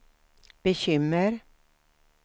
bekymmer